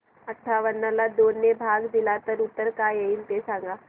अठावन्न ला दोन ने भाग दिला तर उत्तर काय येईल ते सांगा